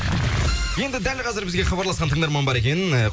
енді дәл қазір бізге хабарласқан тыңдарман бар екен